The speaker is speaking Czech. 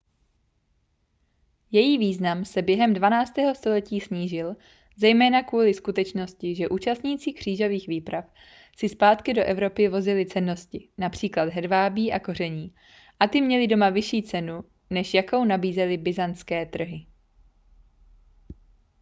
její význam se během dvanáctého století snížil zejména kvůli skutečnosti že účastníci křížových výprav si zpátky do evropy vozili cennosti například hedvábí a koření a ty měly doma vyšší cenu než jakou nabízely byzantské trhy